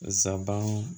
Zaban